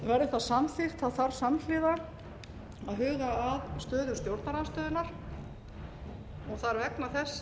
verði það samþykkt þarf samhliða að huga að stöðu stjórnarandstöðunnar það er vegna þess